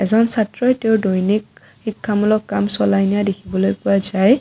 য'ত ছাত্ৰই তেওঁৰ দৈনিক শিক্ষামূলক কাম চলাই নিয়া দেখিবলৈ পোৱা যায়।